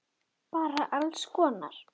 Elsku Raggi minn!